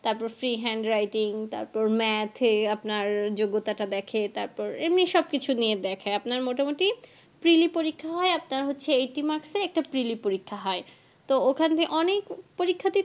তারপর free handwriting তারপর math এ আপনার যোগ্যতা টা দেখে তারপর এমনি সবকিছু নিয়ে দেখে আপনার মোটামোটি preli পরীক্ষা হয় আপনার হচ্ছে এইটি marks এর একটা preli পরীক্ষা হয়